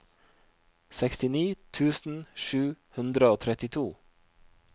sekstini tusen sju hundre og trettito